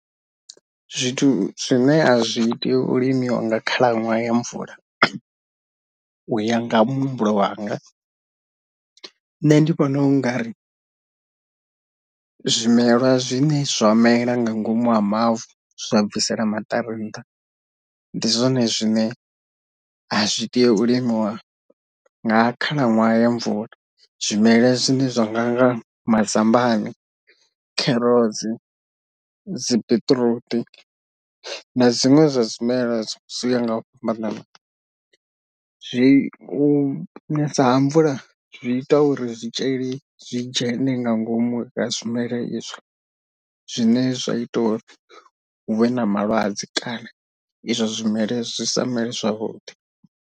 Zwithu zwine a zwi tea u limiwa nga khalaṅwaha ya mvula uya nga muhumbulo wanga, nṋe ndi vhona u nga ri zwimelwa zwine zwa mela nga ngomu ha mavu zwa bvisela maṱari nṱha ndi zwone zwine a zwi tei u limiwa nga khalaṅwaha ya mvula, zwimela zwine zwa nga nga mazambani, kherotsi, dzi biṱiruṱi na zwiṅwe zwa zwimela zwi yaho nga u fhambanana. Zwi u nesa ha mvula zwi ita uri zwitzhili zwi dzhene nga ngomu ha zwimela izwo zwine zwa ita uri hu vhe na malwadze kana izwo zwimela zwi sa mele zwavhuḓi.